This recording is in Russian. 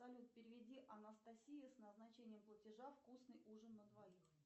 салют переведи анастасия с назначением платежа вкусный ужин на двоих